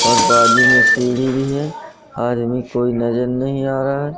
और बाजू में सीढ़ी भी है आदमी कोई नजर नहीं आ रहा--